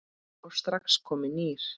og strax kominn nýr.